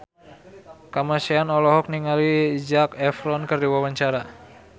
Kamasean olohok ningali Zac Efron keur diwawancara